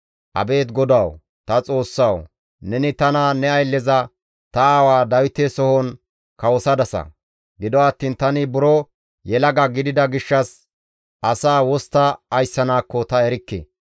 «Abeet GODAWU, ta Xoossawu! Neni tana ne aylleza, ta aawa Dawite sohon kawosadasa; gido attiin tani buro yelaga gidida gishshas asaa wostta ayssanaakko ta erikke.